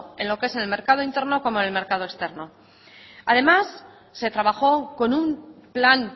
en lo que es mercado interno como en el mercado externo además se trabajó con un plan